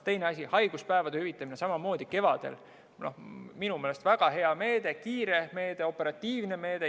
Teine asi, haiguspäevade hüvitamine kevadel – minu meelest väga hea meede, kiire meede, operatiivne meede.